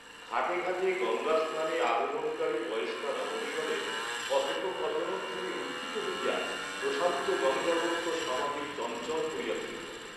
ঘাটে ঘাটে গঙ্গাস্নানে আগমনকারী বয়স্কা রমণীগণের কথোপকথনধ্বনি উত্থিত হইয়া প্রশান্ত গঙ্গাবক্ষ সমধিক চঞ্চল করিয়া তুলিল।